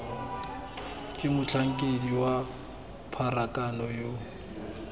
ke motlhankedi wa pharakano yo